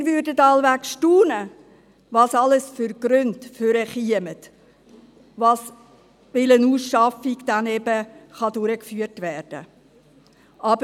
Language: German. Wir würden wahrscheinlich staunen, was für Gründe zutage kämen, bis eine Ausschaffung durchgeführt werden kann.